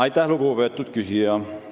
Aitäh, lugupeetud küsija!